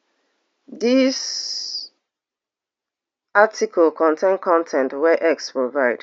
dis article contain con ten t wey x provide